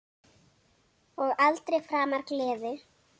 Og aldrei framar gleði.